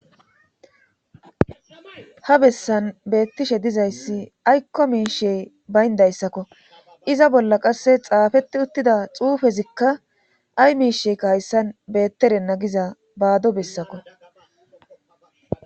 ha bessan beettishe dizayssi aykko miishe bayndayssakko iza bolla qasse xaafette uttida xuufezikka ay miisheykka hayssan beetterenna giza baado bessakko